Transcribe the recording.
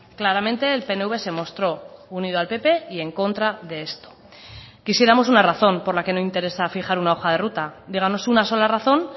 claramente el pnv se mostró unido al pp y en contra de esto quisiéramos una razón por la que no interesa fijar una hoja de ruta díganos una sola razón